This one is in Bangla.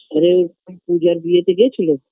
আর এ পূজার বিয়েতে গেছিলো